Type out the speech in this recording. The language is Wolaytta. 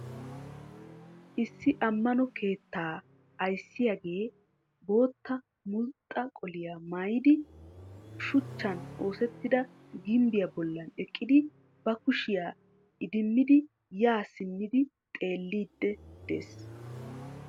Issi ammano keettaa ayissiyagee bootta mulxxa qoliya mayidi shuchchan oosettida gimbbiya bollan eqqidi ba kushiya idimmidi yaa simmi xeelliiddi des.